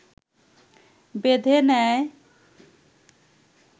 বেঁধে নেয়